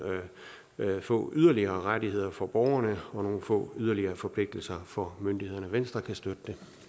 få yderligere rettigheder for borgerne og nogle få yderligere forpligtelser for myndighederne venstre kan støtte